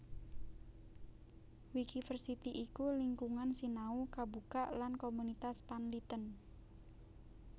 Wikiversity iku lingkungan sinau kabukak lan komunitas panlitèn